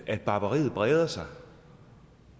at barbariet breder sig